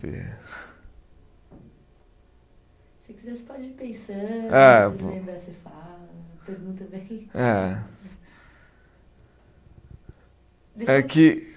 Ver. Se quiser, você pode ir pensando. É, eu vou. Lembrar, você fala, pergunta, bem. É. É que